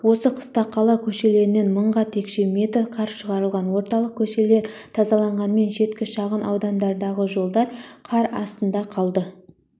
осы қыста қала көшелерінен мыңға текше метр қар шығарылған орталық көшелер тазаланғанмен шеткі шағын аудандардағы жолдар қар астында қалды